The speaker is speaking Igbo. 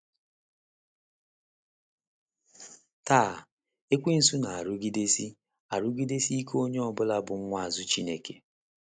Taa, ekwensu na - arụgidesi - arụgidesi ikeonye ọ bụla bụ́ nwaazụ Chineke.